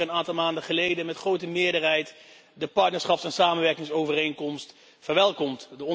We hebben hier een aantal maanden geleden met grote meerderheid de partnerschaps en samenwerkingsovereenkomst verwelkomd.